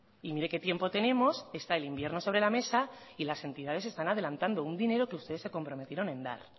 y mire que tiempo tenemos está el invierno sobre la mesa y las entidades están adelantando un dinero que ustedes se comprometieron en dar